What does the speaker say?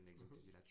Mh